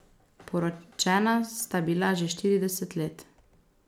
Poročena sta bila že štirideset let.